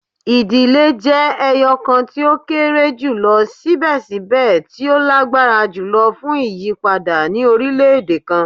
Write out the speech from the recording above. Idile jẹ ẹyọkan ti o kere julọ sibẹsibẹ ti o lagbara julọ fun iyipada ni orilẹ-ede kan